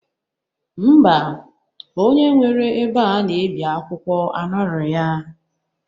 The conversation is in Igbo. Ḿbà onye nwere ebe a na-ebi akwụkwọ anọrọ ya.